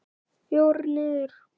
Fjórir niður!